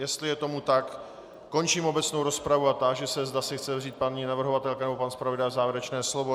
Jestli je tomu tak, končím obecnou rozpravu a táži se, zda si chce vzít paní navrhovatelka nebo pan zpravodaj závěrečné slovo.